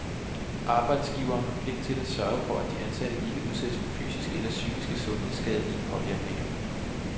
Arbejdsgiveren har pligt til at sørge for at den ansatte ikke udsættes for fysiske eller psykiske sundhedsskadelige påvirkninger.